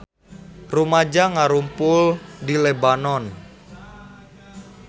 Rumaja ngarumpul di Lebanon